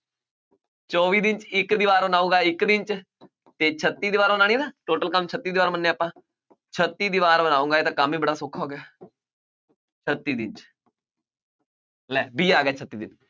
ਚੌਵੀ ਦਿਨ 'ਚ ਇੱਕ ਦੀਵਾਰ ਬਣਾਊਗਾ ਇੱਕ ਦਿਨ 'ਚ ਤੇ ਛੱਤੀ ਦੀਵਾਰ ਬਣਾਉਣੀ ਹੈ ਨਾ total ਕੰਮ ਛੱਤੀ ਦੀਵਾਰ ਮੰਨਿਆ ਆਪਾਂ, ਛੱਤੀ ਦੀਵਾਰ ਬਣਾਊਗਾ, ਇਹ ਤਾਂ ਕੰਮ ਹੀ ਬੜਾ ਸੌਖਾ ਹੋ ਗਿਆ ਛੱਤੀ ਦਿਨ 'ਚ ਲੈ b ਆ ਗਿਆ ਛੱਤੀ ਦਿਨ